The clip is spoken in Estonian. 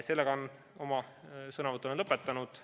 Sellega olen oma sõnavõtu lõpetanud.